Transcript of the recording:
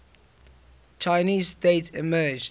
chinese state emerged